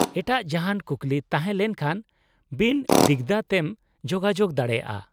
-ᱮᱴᱟᱜ ᱡᱟᱦᱟᱸᱱ ᱠᱩᱠᱞᱤ ᱛᱟᱦᱮᱸ ᱞᱮᱱᱠᱷᱟᱱ ᱵᱤᱱ ᱫᱤᱜᱽᱫᱷᱟᱹ ᱛᱮᱢ ᱡᱳᱜᱟᱡᱳᱜ ᱫᱟᱲᱮᱭᱟᱜᱼᱟ ᱾